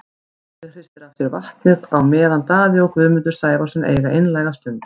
Óli hristir af sér vatnið á meðan Daði og Guðmundur Sævarsson eiga einlæga stund.